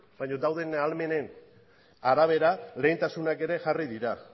baina dauden ahalmenen arabera lehentasunak ere jarri dira